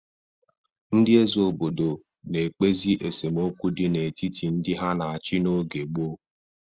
Ndị eze obodo na-ekpezi esemokwu dị n'etiti ndị ha na-achị n'oge gboo.